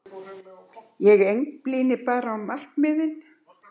Ég einblíni bara á markmiðin.